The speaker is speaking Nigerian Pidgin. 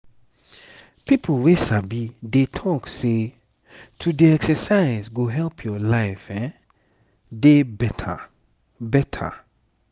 people wey sabi dey talk say to dey exercise go help your life dey better. better.